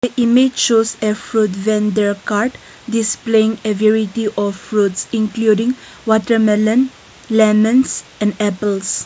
image shows a fruit vendor cart displaying a variety of fruits including watermelon lemons and apples.